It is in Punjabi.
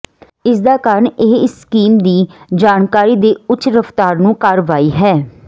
ਇਸ ਦਾ ਕਾਰਨ ਇਹ ਇਸ ਕਿਸਮ ਦੀ ਜਾਣਕਾਰੀ ਦੇ ਉੱਚ ਰਫਤਾਰ ਨੂੰ ਕਾਰਵਾਈ ਹੈ